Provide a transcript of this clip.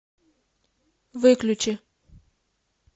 выключи